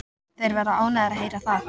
Þeir verða ánægðir að heyra það.